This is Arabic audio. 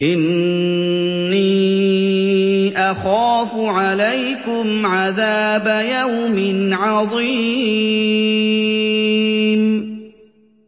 إِنِّي أَخَافُ عَلَيْكُمْ عَذَابَ يَوْمٍ عَظِيمٍ